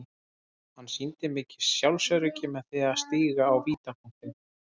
Hann sýndi mikið sjálfsöryggi með því að stíga á vítapunktinn.